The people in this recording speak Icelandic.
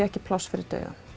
ekki pláss fyrir dauðann